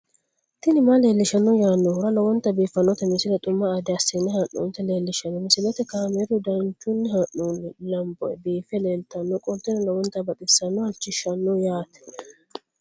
tini maa leelishshanno yaannohura lowonta biiffanota misile xuma gede assine haa'noonnita leellishshanno misileeti kaameru danchunni haa'noonni lamboe biiffe leeeltannoqolten lowonta baxissannoe halchishshanno yaate